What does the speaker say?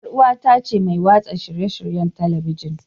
Yar uwata ce mai watsa shirye-shiryen Talabijin.